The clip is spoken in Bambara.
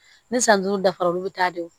Ni san duuru dafara olu bi taa de don